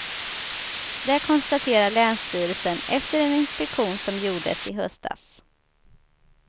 Det konstaterar länsstyrelsen efter en inspektion som gjordes i höstas.